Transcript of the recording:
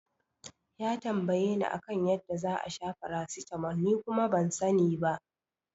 Ya tambayeni a kan yadda za'a sha paracetamol ni kuma ban sani ba.